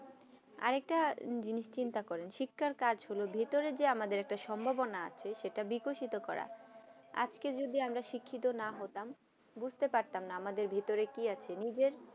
আরাকটা জিনিস চিন্তা করে শিক্ষার কাজ গুলো ভেতরে আমাদের একটা সম্ভবনা আছে সেটা বিকশিত করা আজ কে যদি আমরা শিক্ষিত না হতাম বুছতে পারতাম না আমাদের ভিতরে কি আছে নিজের